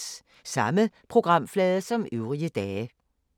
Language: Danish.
Samme programflade som øvrige dage